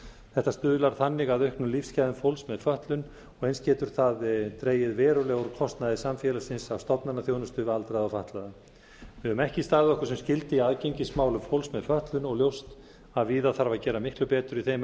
þetta stuðlar þannig að auknum lífsgæðum fólks með fötlun og eins getur að dregið verulega úr kostnaði samfélagsins af stofnanaþjónustu við aldraða og fatlaða við höfum ekki staðið okkur sem skyldi að aðgengismálum fólks með fötlun og er ljóst að víða þarf að gera miklu betur í þeim